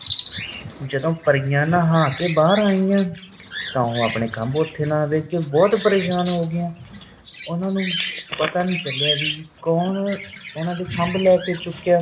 ਜਦੋ ਪਰੀਆਂ ਨਹਾ ਕੇ ਬਾਰ ਆਈਆਂ ਤਾਂ ਉਹ ਆਪਣੇ ਖੱਬ ਨਾ ਦੇਖ ਕੇ ਬਹੁਤ ਪਰੇਸ਼ਾਨ ਹੋ ਗਿਆ। ਉਹਨਾਂ ਨੂੰ ਪਤਾ ਨਹੀਂ ਚਲਿਆ ਕਿ ਕੌਣ ਖੱਬ ਲੈ ਚੁਕਿਆ।